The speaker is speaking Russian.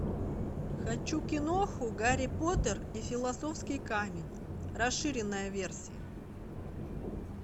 хочу киноху гарри поттер и философский камень расширенная версия